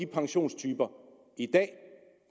pensiontyper i dag